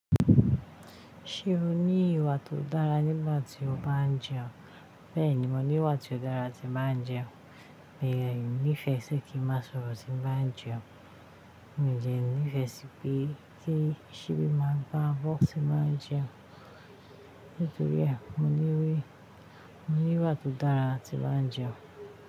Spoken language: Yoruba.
Ṣé o ní ìwà tó dára nígbà tí o bá ń jẹun? Bẹ́ẹ̀ni, mo ní ìwà tó dára tí ń bá ń jẹun, èyà mi nífẹ̀ẹ́ sí kí n má sọ̀rọ̀ tí ń bá ń jẹun, mi i dẹ nífẹ̀ẹ́ sí pé kí sibi máa gbá abọ́ tí ń bá ń jẹun. Nítorí à, mo ní ìwà tó dára tí ń bá ń jẹun.